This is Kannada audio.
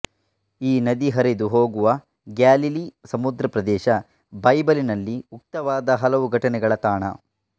ಈ ನದಿ ಹರಿದು ಹೋಗುವ ಗ್ಯಾಲಿಲೀ ಸಮುದ್ರ ಪ್ರದೇಶ ಬೈಬಲಿನಲ್ಲಿ ಉಕ್ತವಾದ ಹಲವು ಘಟನೆಗಳ ತಾಣ